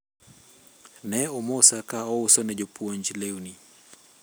ne omosa ka auso ne jopuonj lewni